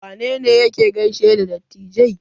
Wane ne yake gaishe da dattijai?